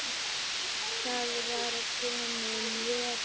Það var kominn vetur.